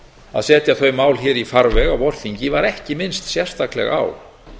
að setja þau mál hér í farveg á vorþingi var ekki minnst sérstaklega á